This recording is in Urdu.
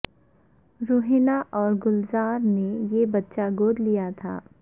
روحینہ اور گلزار نے یہ بچہ گود لیا تھا